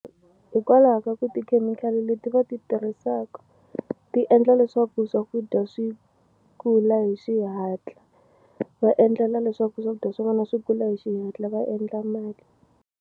Hikwalaha ka ku tikhemikhali leti va ti tirhisaka ti endla leswaku swakudya swi kula hi xihatla va endlela leswaku swakudya swa vona swi kula hi xihatla va endla mali.